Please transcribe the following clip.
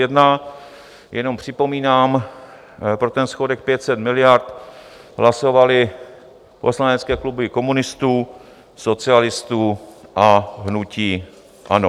Jenom připomínám, pro ten schodek 500 miliard hlasovaly poslanecké kluby komunistů, socialistů a hnutí ANO.